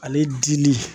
Ale dili